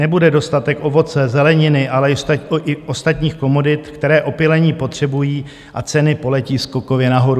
Nebude dostatek ovoce, zeleniny, ale i ostatních komodit, které opylení potřebují, a ceny poletí skokově nahoru.